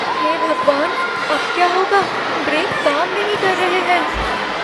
हे भगवान! अब क्या होगा? ब्रेक काम नहीं कर रहे हैं।